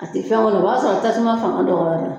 A tɛ fɛn kɔni o b'a sɔrɔ tasuma fanga dɔgɔyara